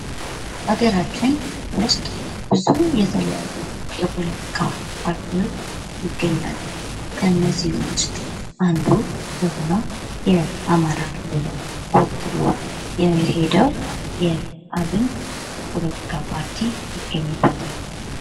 ሀገራችን ውስጥ ብዙ የተለያዩ የፖለቲካ ፓርቲዎች ይገኛሉ ከነዚህም ውስጥ አንዱ የሆነው የአማራ ክልልን ወክሎ የሄደው የአብን ፖለቲካ ፓርቲ ይገኝበታል።